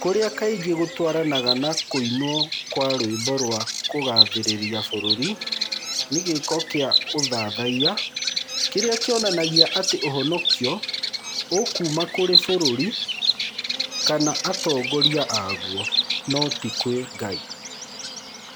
kũrĩa kaingĩ gũtwaranaga na kũinwo kwa rwĩmbo rwa kũgaathĩrĩria bũrũri, nĩ gĩĩko kĩa ũthathaiya kĩrĩa kĩonanagia atĩ ũhonokio ũkuuma kũrĩ bũrũri kana atongoria a guo, no ti kwĩ Ngai.